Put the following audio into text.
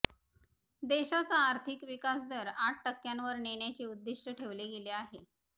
देशाचा आर्थिक विकासदर आठ टक्क्यांवर नेण्याचे उद्दीष्ट ठेवले गेले आहे